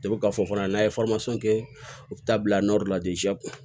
k'a fɔ fana n'a ye kɛ u bɛ taa bila la